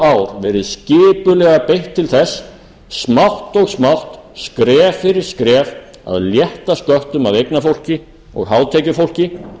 verið skipulega beitt til þess smátt og smátt skref fyrir skref að létta sköttum af eignafólki og hátekjufólki